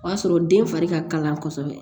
O y'a sɔrɔ den fari ka kalan kosɛbɛ